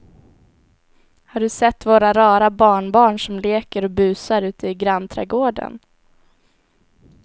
Har du sett våra rara barnbarn som leker och busar ute i grannträdgården!